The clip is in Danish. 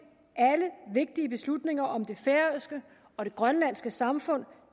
alle vigtige beslutninger om det færøske og det grønlandske samfund